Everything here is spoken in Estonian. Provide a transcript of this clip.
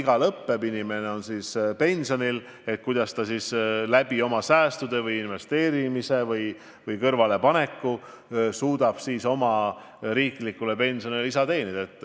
Kui inimene on pensionil, kuidas ta siis suudab oma säästude, oma kõrvalepandud raha abil või investeerimise abil oma riiklikule pensionile lisa saada.